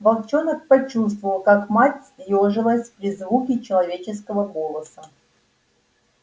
волчонок почувствовал как мать съёжилась при звуке человеческого голоса